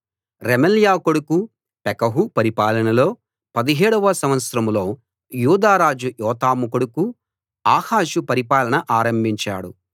రెమల్యా కొడుకు పెకహు పరిపాలనలో 17 వ సంవత్సరంలో యూదా రాజు యోతాము కొడుకు ఆహాజు పరిపాలన ఆరంభించాడు